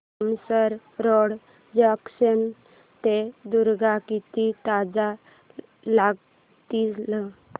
Tumsar road junction ते दुर्ग किती तास लागतील